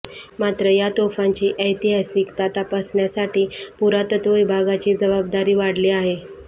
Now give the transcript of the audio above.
मात्र या तोफांची ऐतिहासिकता तपासण्यासाठी पुरातत्त्व विभागाची जबाबदारी वाढली आहे